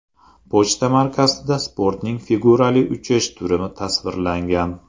Pochta markasida sportning figurali uchish turi tasvirlangan.